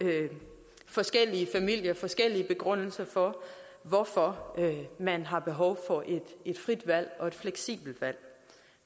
forskellige familier og forskellige begrundelser for hvorfor man har behov for et frit valg og et fleksibelt valg